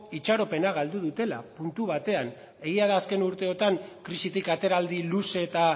itxaropena galdu dutela puntu batean egia da azken urteotan krisitik ateraldi luze eta